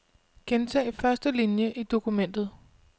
Gentag første linie i dokumentet.